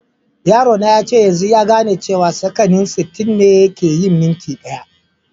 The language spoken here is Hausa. Yaro na yace yanzun ya gane cewa sakanni sitin ne kai yin minti daya.